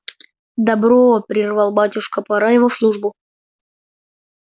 добро прервал батюшка пора его в службу